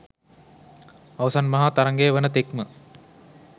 අවසන් මහා තරගය වන තෙක්ම